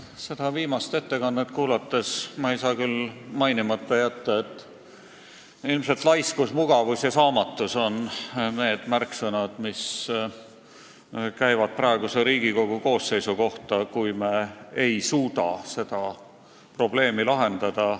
Pärast seda viimast ettekannet ei saa ma küll mainimata jätta, et ilmselt on laiskus, mugavus ja saamatus need märksõnad, mis käivad praeguse Riigikogu koosseisu kohta, kui me ei suuda seda probleemi lahendada.